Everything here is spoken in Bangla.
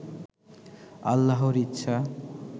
আল্লাহর ইচ্ছা